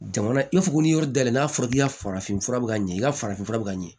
Jamana i ko ko ni yɔrɔ dayɛlɛ n'a fɔra k'i ka farafin fura bɛ ka ɲɛ i ka farafin fura bɛ ka ɲɛ